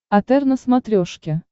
отр на смотрешке